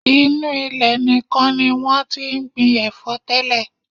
Inú ilẹ̀ nìkan ni wọ́n ti ń gbin ẹ̀fọ́ tẹ́lẹ̀.